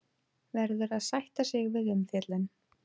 Verður að sætta sig við umfjöllun